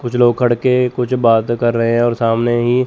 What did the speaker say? कुछ लोग खड़के कुछ बात कर रहे है और सामने ही --